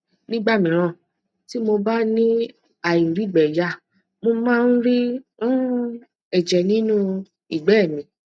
nígbà míràn tí mo bá ni airigbeya mo máa ń ri um ẹjẹ nínú igbe mi